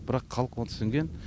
бірақ халық оны түсінген